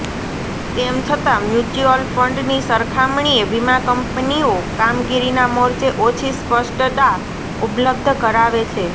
તેમ છતાં મ્યુચ્યુઅલ ફંડની સરખામણીએ વીમા કંપનીઓ કામગીરીના મોરચે ઓછી સ્પષ્ટતા ઉપલબ્ધ કરાવે છે